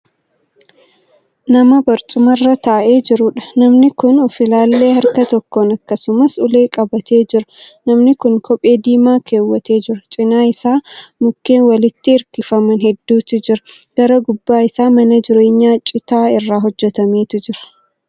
Nama barcumaarra taa'ee jiruudha. namni Kuni of-laallee harka tokkoon akkasumas ulee qabatee jira. namni Kuni kophee diimaa kaawwatee jira. cinaa Isaa mukkee walirratti hirkifaman hedduutu jira. gara duuba Isaa mana jireenyaa citaa irraa hojjatametu jira